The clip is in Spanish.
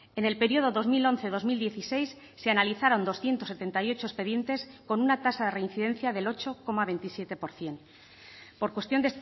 en el periodo dos mil once dos mil dieciséis se analizaron doscientos setenta y ocho expedientes con una tasa de reincidencia del ocho coma veintisiete por ciento por cuestión